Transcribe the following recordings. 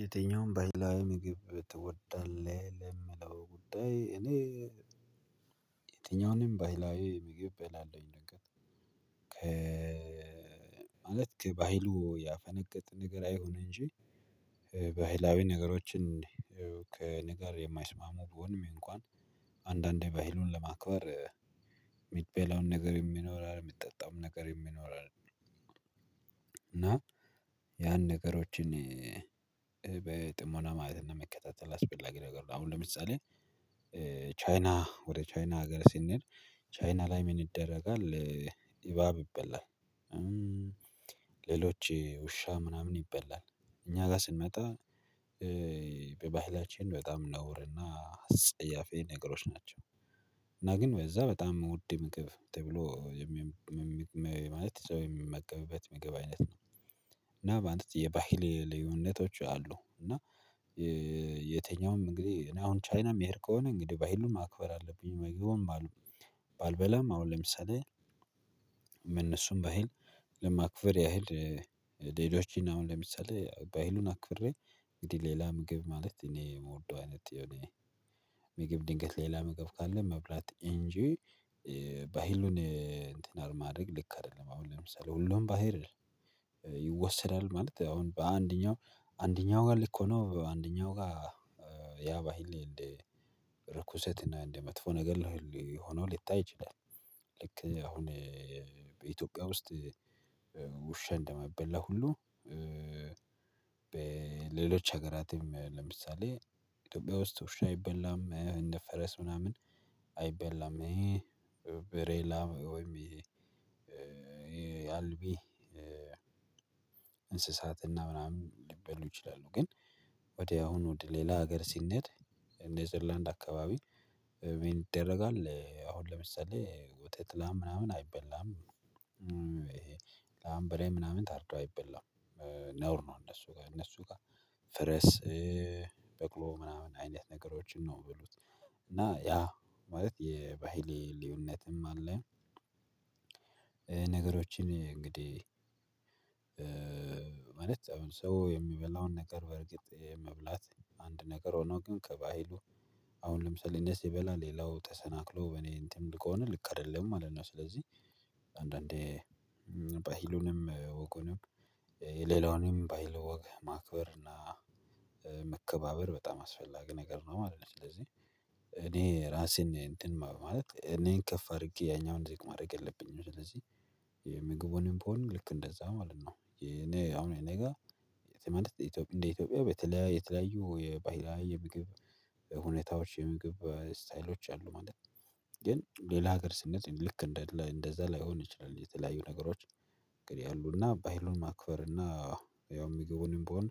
የትኛውንም ባህላዊ ምግብ ትወዳለህ ለሚለው ጉዳይ እኔ የትኛውንም ባህላዊ ምግብ እበላለሁኝ ነገር ከ ማለት ከባህሉ ያፈነገጠ ነገር አይሁን እንጂ ባህላዊ ነገሮችን ከነገር የማይስማሙ ቢሆንም እንኳን አንዳንዴ ባህሉን ለማክበር ምትበላው ነገር ይኖራል የሚጠጣው ነገር ይኖራል። እና ያን ነገሮችን በጥሞና ማለትና መከታተል አስፈላጊ ነገር ነው። አሁን ለምሳሌ ቻይና ወደ ቻይና ሀገር ስንል ቻይና ላይ ምን ይደረጋል? እባብ ይበላል። ሌሎች ውሻ ምናምን ይበላል እኛ ጋር ስንመጣ። በባህላችን በጣም ነውር እና ጸያፍ ነገሮች ናቸው። እና ግን ወይ እዛ በጣም ውድ ምግብ ተብሎ ማለት አይነት ምግብ አይነት ነው። እና በአንተ የባህል ልዩነቶች አሉ እና የትኛውም እንግዲህ እኔ አሁን ቻይና የሚሄድ ከሆነ እንግዲህ ባህሉን ማክበር አለብኝ። ምግቡን ባልበላም አሁን ለምሳሌ እነሱም ባሄድ ለማክብር ያህል ሌሎች አሁን ለምሳሌ ባህሉን አክብሬ እንግዲህ ሌላ ምግብ ማለት እኔ የምወደው አይነት የሆነ ድንገት ሌላ ምግብ ካለ መብላት እንጂ ባህሉን እንትን አለማድረግ ልክ አይደለም። አሁን ለምሳሌ ሁሉም ባህል ይወሰዳል ማለት አሁን በአንደኛው አንደኛው ጋር ልክ ሆኖ አንደኛው ጋር ያባህል እንዴ ርኩሰት እና እንደ መጥፎ ነገር ሊሆነው ሊታይ ይችላል። ልክ አሁን በኢትዮጵያ ውስጥ ውሻን እንደማይበላ ሁሉ በሌሎች ሀገራትም ለምሳሌ ኢትዮጵያ ውስጥ ውሻ አይበላም እንደ ፈረስ ምናምን አይበላም። ብሬላ ወይም ያልቢ የአልቢ እንስሳትና ምናምን ሊበሉ ይችላሉ። ግን ወዲያውኑ ሌላ ሀገር ሲነድ ኔዘርላንድ አካባቢ ምን ይደረጋል? አሁን ለምሳሌ ውጤት ላም ምናምን አይበላም ላም በሬ ምናምን ታርዶ አይበላም ነውር ነው። እነሱ ጋር እነሱ ጋር ፈረስ በቅሎ ምናምን አይነት ነገሮችን ነው የሚበሉት። እና ያ ማለት የባህሌ ልዩነትም አለ። ነገሮችን እንግዲህ ማለት አሁን ሰው የሚበላውን ነገር በርግጥ የመብላት አንድ ነገር ሆኖ ግን ከባህሉ አሁን ለምሳሌ እኔ ስበላ ሌላው ተሰናክሎ በኔ እንትን ከሆነ ልክ አይደለም ማለት ነው። ስለዚህ አንዳንዴ ባሂሉንም ወጉንም የሌላውንም ባሂል ወግ ማክበር እና መከባበር በጣም አስፈላጊ ነገር ነው ማለት ነው። ስለዚህ እኔ ራሴን እንትን ማለት እኔን ከፍ አድርጌ ያኛውን ዜግ ማድረግ የለብኝም ስለዚህ ቦን ልክ እንደዛ ማለት ነው። አሁን እኔ ጋር የትምህርት ኢትዮጵያ እንደ ኢትዮጵያ የተለያየ የተለያየ የባህላዊ የምግብ ሁኔታዎች የምግብ ስታይሎች አሉ ማለት ነው። ግን ሌላ ሀገር ስኔድ ልክ እንደዛ ላይሆን ይችላል። የተለያዩ ነገሮች እንግዲህ አሉና ባይሉን ማክበርና ያው ምግቡንም ብሆን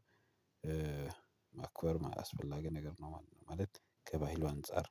ማክበር አስፈላጊ ነገር ነው። ማለት ከባህሉ አንፃር